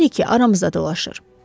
Bilirik ki, aramızda dolaşır.